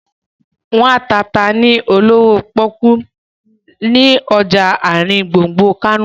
Wọ́n ń ta ata ni olówó pọ́kú ni ọjà àrin gbùngbùn Kánò